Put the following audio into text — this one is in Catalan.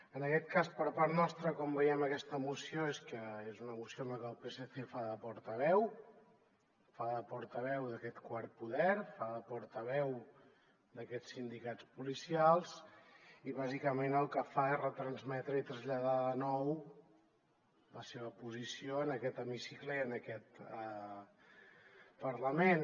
en aquest cas per part nostra com veiem aquesta moció és que és una moció en la que el psc fa de portaveu fa de portaveu d’aquest quart poder fa de portaveu d’aquests sindicats policials i bàsicament el que fa és retransmetre i traslladar de nou la seva posició en aquest hemicicle i en aquest parlament